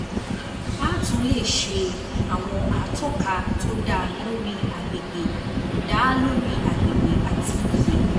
A tún lè ṣe àwọn atọ́ka tó dá lórí àgbègbè dá lórí àgbègbè àti iye.